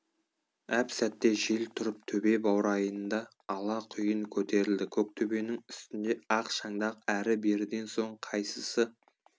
әп сәтте жел тұрып төбе баурайында ала құйын көтерілді көктөбенің үстінде ақ шаңдақ әрі беріден соң қайсысы